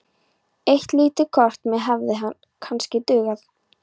Eitt lítið kort hefði kannski dugað.